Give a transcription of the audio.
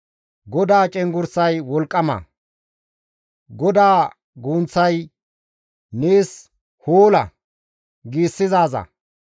GODAA cenggurssay wolqqama; GODAA gunththay, «Nees hoola!» giissizaaza.